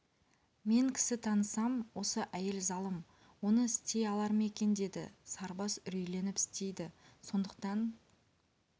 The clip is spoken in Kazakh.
мен кісі танысам осы әйел залым оны істей алар ма екен деді сарыбас үрейленіп істейді сондықтан